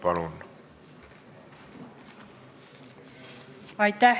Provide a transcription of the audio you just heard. Palun!